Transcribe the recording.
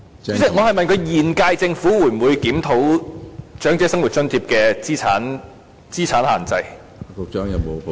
主席，我問局長現屆政府會否檢討長者生活津貼的資產限制。